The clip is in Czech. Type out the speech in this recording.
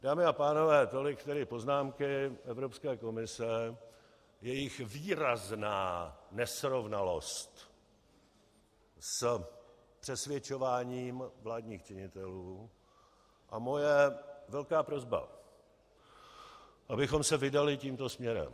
Dámy a pánové, tolik tedy poznámky Evropské komise, jejich výrazná nesrovnalost s přesvědčováním vládních činitelů a moje velká prosba, abychom se vydali tímto směrem.